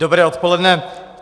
Dobré odpoledne.